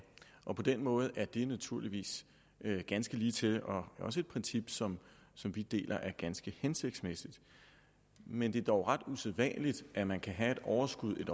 år på den måde er det naturligvis ganske ligetil og også et princip som som vi deler er ganske hensigtsmæssigt men det er dog ret usædvanligt at man kan have et overskud